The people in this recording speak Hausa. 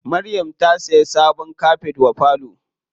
Maryam ta siya sabon kafet wa falo.